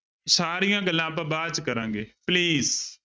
ਸਾਰੀਆਂ ਗੱਲਾਂ ਆਪਾਂ ਬਾਅਦ ਚ ਕਰਾਗੇ please